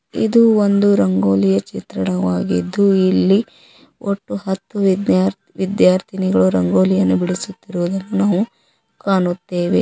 ಇದು ಒಂದು ರಂಗೋಲಿಯ ಚಿತ್ರಣವಾಗಿದ್ದು ಇಲ್ಲಿ ಒಟ್ಟು ಹತ್ತು ವಿದ್ಯಾರ್ಥಿ ವಿದ್ಯಾರ್ಥಿನಿಗಳು ರಂಗೋಲಿಯನ್ನು ಬಿಡಿಸುತ್ತಿರುವುದನ್ನು ನಾವು ಕಾಣುತ್ತೇವೆ.